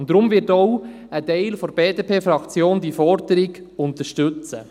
Deshalb wird ein Teil der BDP-Fraktion diese Forderung unterstützen.